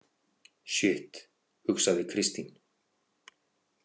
Sjitt, hugsaði Kristín.